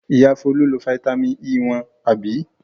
Ìyá Folú lo fataímìn E wọn, àbí?